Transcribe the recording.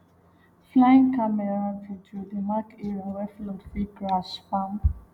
flying camera video dey mark area wey flood fit crash farm